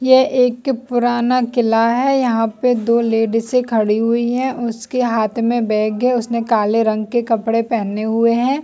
ये एक पुराना किला है यहाँ पे दो लेडीज़ खड़ी हुई है उसके हाथ में बैग है उसने काले रंग के कपडे पहने हुए है।